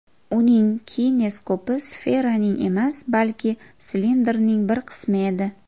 Uning kineskopi sferaning emas, balki silindrning bir qismi edi.